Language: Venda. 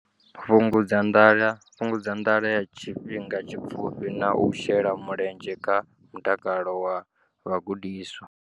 Fhungudza nḓala ya tshifhinga tshipfufhi na u shela mulenzhe kha mutakalo wa vhagudiswa.